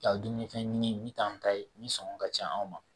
Ka dumunifɛn ɲini min t'an ta ye min sɔngɔ ka ca anw ma